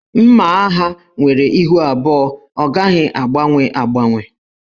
Mma agha nwere ihu abụọ, ọ gaghị agbanwe agbanwe.